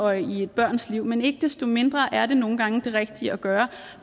og i et barns liv men ikke desto mindre er det nogle gange det rigtige at gøre